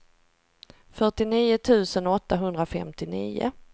fyrtionio tusen åttahundrafemtionio